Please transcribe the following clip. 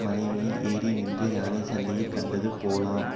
மலை மேல் ஏறி நின்று யானைச் சண்டையை கண்டது போலாம்